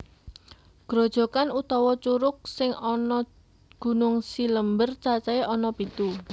Grojokan utawa curug sing ana Gunung Cilember cacahé ana pitu